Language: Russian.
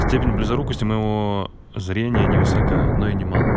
степень близорукости моего зрения невысока но и не мала